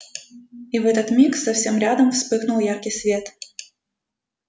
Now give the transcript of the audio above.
и в этот миг совсем рядом вспыхнул яркий свет